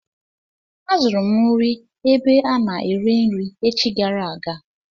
Azụrụ m nri ebe a na-ere nri echi gara aga.